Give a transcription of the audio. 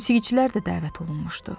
Musiqiçilər də dəvət olunmuşdu.